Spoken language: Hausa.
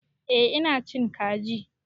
Eh ina cin kaji.